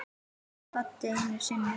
spurði Baddi einu sinni.